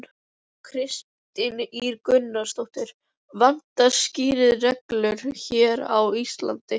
Kristín Ýr Gunnarsdóttir: Vantar skýrari reglur hér á Íslandi?